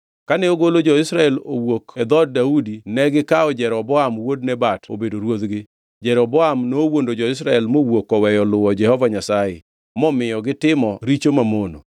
Kane ogolo jo-Israel owuok e dhood Daudi negikawo Jeroboam wuod Nebat obedo ruodhgi. Jeroboam nowuondo jo-Israel mowuok oweyo luwo Jehova Nyasaye, momiyo gitimo richo mamono.